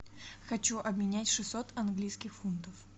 хочу обменять шестьсот английских фунтов